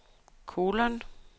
kolon